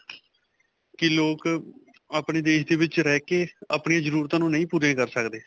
ਕਿ ਲੋਕ ਆਪਣੇ ਦੇਸ਼ ਦੇ ਵਿਚ ਰਹਿ ਕੇ ਆਪਣੀਆਂ ਜਰੂਰਤਾ ਨੂੰ ਨਹੀਂ ਪੂਰਾ ਕਰ ਸਕਦੇ.